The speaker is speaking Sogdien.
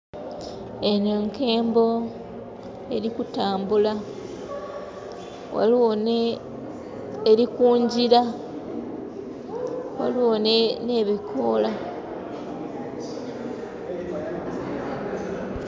Eno enkembo erikutambula, eri kungira ghaligho nhe bikola.